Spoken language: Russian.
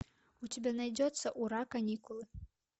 у тебя найдется ура каникулы